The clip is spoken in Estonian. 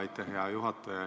Aitäh, hea juhataja!